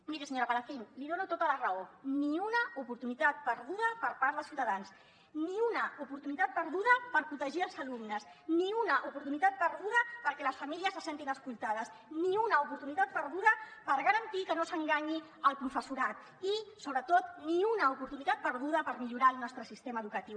miri senyora palacín li dono tota la raó ni una oportunitat perduda per part de ciutadans ni una oportunitat perduda per protegir els alumnes ni una oportunitat perduda perquè les famílies se sentin escoltades ni una oportunitat perduda per garantir que no s’enganyi el professorat i sobretot ni una oportunitat perduda per millorar el nostre sistema educatiu